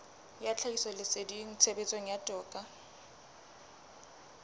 ya tlhahisoleseding tshebetsong ya toka